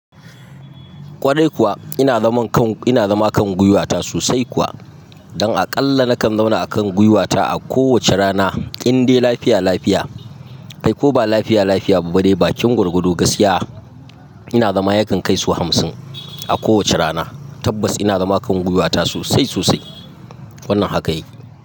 Kwarai kuwa ina zama kan, ina zama kan gwiwata sosai kuwa. Don aƙalla na kan zauna akan gwiwata a kowace rana, indai lafiya lafiya. Ai ko ba lafiya lafiya kuma dae, bakin gwargwado gaskiya. Ina zama yakan kai sau hamsin a kowace rana. Tabbas ina zama kan gwiwata sosai sosai. Wannan haka yake.